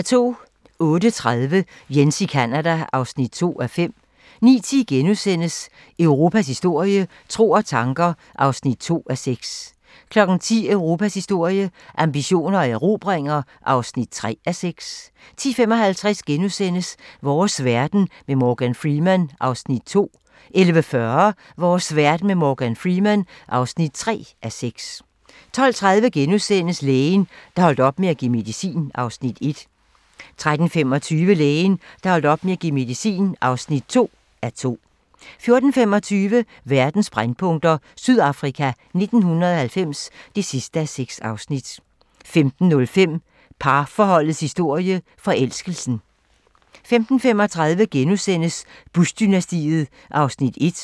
08:30: Jens i Canada (2:5) 09:10: Europas historie - tro og tanker (2:6)* 10:00: Europas historie - ambitioner og erobringer (3:6) 10:55: Vores verden med Morgan Freeman (2:6)* 11:40: Vores verden med Morgan Freeman (3:6) 12:30: Lægen, der holdt op med at give medicin (1:2)* 13:25: Lægen, der holdt op med at give medicin (2:2) 14:25: Verdens brændpunkter: Sydafrika 1990 (6:6) 15:05: Parforholdets historie -forelskelsen 15:35: Bush-dynastiet (1:6)*